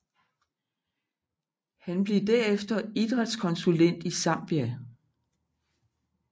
Han blev derefter idrætskonsulent i Zambia